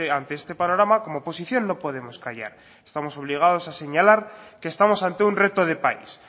ante este panorama como oposición no podemos callar estamos obligados a señalar que estamos ante un reto de país